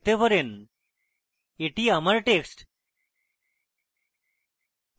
এটি আমার text